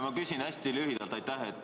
Ma küsin hästi lühidalt.